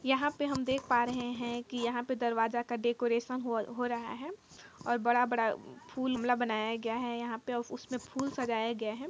यहाँ पे हम देख पा रहें हैं की यहाँ पे दरवाजा का डेकरैशन हो हो रहा है और बड़ा बड़ा फूल गमला बनाया गया है यहाँ पे और उसमे फूल सजाया गया है ।